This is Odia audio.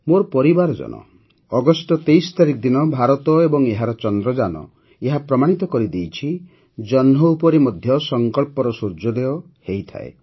ମୋ ପରିବାରଜନ ଅଗଷ୍ଟ ୨୩ ତାରିଖ ଦିନ ଭାରତ ଏବଂ ଏହାର ଚନ୍ଦ୍ରଯାନ ଏହା ପ୍ରମାଣିତ କରିଦେଇଛନ୍ତି ଯେ ଜହ୍ନ ଉପରେ ମଧ୍ୟ ସଂକଳ୍ପର ସୂର୍ଯ୍ୟୋଦୟ ହୋଇଥାଏ